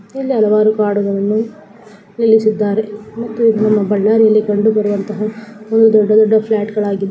ಇಲ್ಲಿ ಹಲವಾರು ಗಾಡಿಗಳನ್ನು ನಿಲ್ಲಿಸಿದ್ದಾರೆ ಮತ್ತು ಇದು ನಮ್ಮ ಬಳ್ಳಾರಿಯಲ್ಲಿ ಕಂಡು ಬರುವಂತಹ ಒಂದು ದೊಡ್ಡ ದೊಡ್ಡ ಫ್ಲಾಟ್ ಗಳಾಗಿದ್ದವೇ.